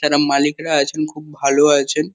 যারা মালিকরা আছেন খুব ভালো আছেন।